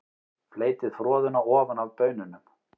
Fleytið froðuna ofan af baununum.